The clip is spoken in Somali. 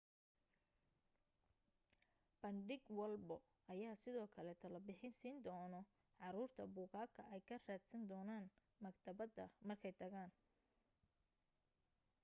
bandhig walbo ayaa sidoo kale talo bixin siin dono caruurta buugaga ay ka raadsan doonaan maktabada markay tagaan